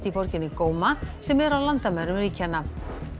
í borginni sem er á landamærum ríkjanna